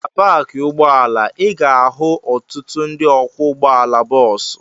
Na paakị ụgbọala, ị ga-ahụ ọtụtụ ndị ọkwọ ụgbọala bọọsụ.